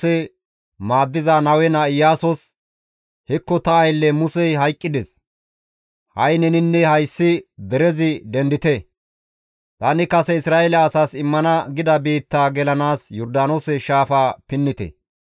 «Hekko ta aylle Musey hayqqides; ha7i neninne hayssi derezi dendite; tani kase Isra7eele asaas immana gida biittaa gelanaas Yordaanoose shaafa pinnite.